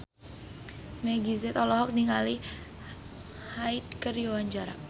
Meggie Z olohok ningali Hyde keur diwawancara